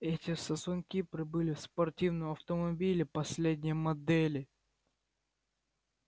эти сосунки прибыли в спортивном автомобиле последней модели